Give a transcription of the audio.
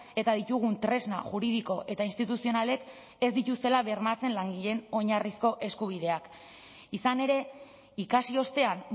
eta ditugun tresna juridiko eta instituzionalek ez dituztela bermatzen langileen oinarrizko eskubideak izan ere ikasi ostean